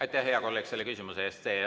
Aitäh, hea kolleeg, selle küsimuse eest!